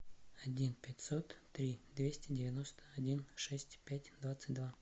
один пятьсот три двести девяносто один шесть пять двадцать два